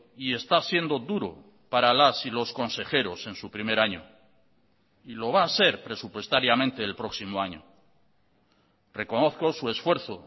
y está siendo duro para las y los consejeros en su primer año y lo va a ser presupuestariamente el próximo año reconozco su esfuerzo